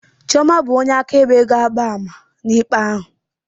Chiọma bụ onye akaebe ga-agba ama n'ikpe ahụ